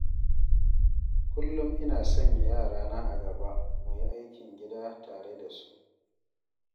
Kullum ina sanya yarana a gaba mu yi aikin gida tare da su.